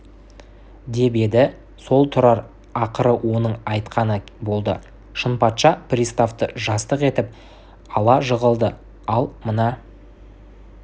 деп еді сол тұрар ақыры оның айтқаны болды шынпатша приставты жастық етіп ала жығылды ал мына